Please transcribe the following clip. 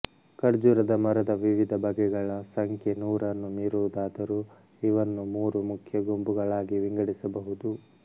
ಖರ್ಜೂರದ ಮರದ ವಿವಿಧ ಬಗೆಗಳ ಸಂಖ್ಯೆ ನೂರನ್ನು ಮೀರುವುದಾದರೂ ಇವನ್ನು ಮೂರು ಮುಖ್ಯ ಗುಂಪುಗಳಾಗಿ ವಿಂಗಡಿಸಬಹುದು